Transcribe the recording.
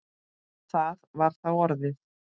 Það var þá orðið!